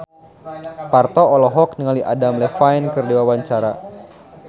Parto olohok ningali Adam Levine keur diwawancara